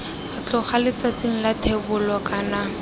tloga letsatsing la thebolo kana